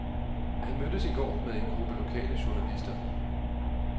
Han mødtes i går med en gruppe lokale journalister.